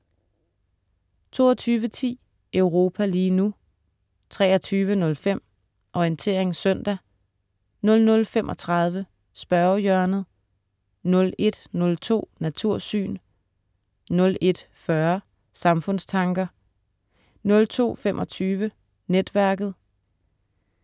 22.10 Europa lige nu* 23.05 Orientering søndag* 00.35 Spørgehjørnet* 01.02 Natursyn* 01.40 Samfundstanker* 02.25 Netværket*